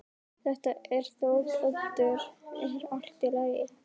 Þetta er Þóroddur, er allt í lagi?